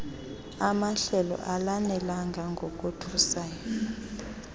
amahlelo alanelanga ngokothusayo